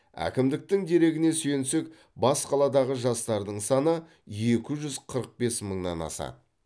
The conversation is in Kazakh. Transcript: әкімдіктің дерегіне сүйенсек бас қаладағы жастардың саны екіжүз қырық бес мыңнан асады